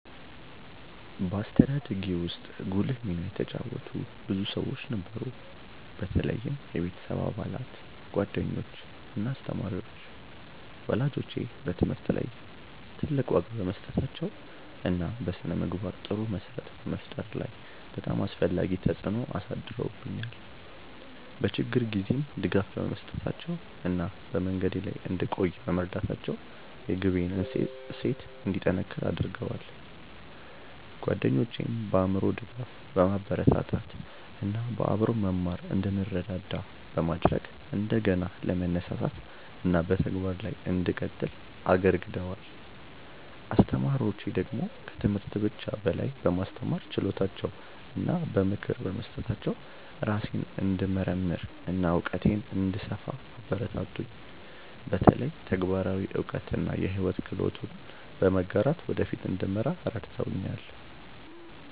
በአስተዳደጌ ውስጥ ጉልህ ሚና የተጫወቱ ብዙ ሰዎች ነበሩ፣ በተለይም የቤተሰብ አባላት፣ ጓደኞች እና አስተማሪዎች። ወላጆቼ በትምህርት ላይ ትልቅ ዋጋ በመስጠታቸው እና በስነ-ምግባር ጥሩ መሰረት በመፍጠር ላይ በጣም አስፈላጊ ተጽዕኖ አሳድረውብኛል፤ በችግር ጊዜም ድጋፍ በመስጠታቸው እና በመንገዴ ላይ እንድቆይ በመርዳታቸው የግቤን እሴት እንዲጠነክር አድርገዋል። ጓደኞቼም በአእምሮ ድጋፍ፣ በማበረታታት እና በአብሮ መማር እንድንረዳዳ በማድረግ እንደገና ለመነሳሳት እና በተግባር ላይ እንድቀጥል አግርገደዋል። አስተማሪዎቼ ደግሞ ከትምህርት ብቻ በላይ በማስተማር ችሎታቸው እና በምክር በመስጠታቸው ራሴን እንድመርምር እና እውቀቴን እንድሰፋ አበረታቱኝ፤ በተለይ ተግባራዊ እውቀት እና የሕይወት ክህሎቶችን በመጋራት ወደ ፊት እንድመራ ረድተውኛል።